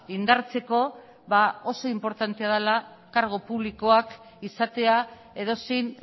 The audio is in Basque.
indartzeko oso inportantea dela kargu publikoak izatea edozein